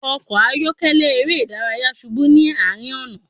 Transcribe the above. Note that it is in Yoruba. Ọkọ ayọkẹlẹ ere idaraya ṣubu ni arin ọna